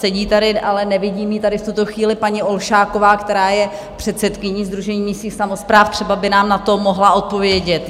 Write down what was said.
Sedí tady, ale nevidím ji tady v tuto chvíli, paní Olšáková, která je předsedkyní Sdružení místních samospráv, třeba by nám na to mohla odpovědět.